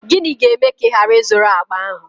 Gịnị ga-eme ka ị ghara ị zụrụ akpa ahụ?